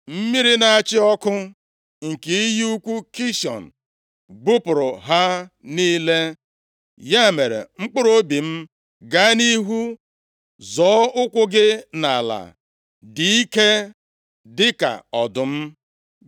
Mmiri na-achị ọkụ nke iyi ukwu Kishọn bupụrụ ha niile. Ya mere, mkpụrụobi m gaa nʼihu, zoo ụkwụ gị nʼala, dị ike dịka ọdụm!